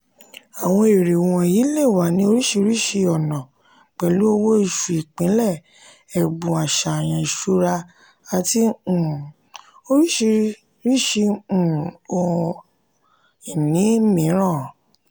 àwọn èrè um wọ̀nyí le wà ní oríṣiríṣi ọ̀nà pẹ̀lú owó-oṣù ìpìlẹ̀ ẹ̀bùn àṣàyàn ìṣura àti um oríṣiríṣi um ohun ìní mìíràn.